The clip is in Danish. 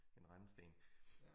En rendesten